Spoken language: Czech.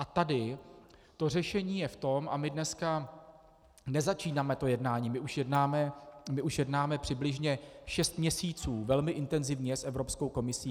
A tady to řešení je v tom - a my dneska nezačínáme to jednání, my už jednáme přibližně šest měsíců velmi intenzivně s Evropskou komisí.